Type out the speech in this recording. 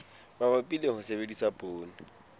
mabapi le ho sebedisa poone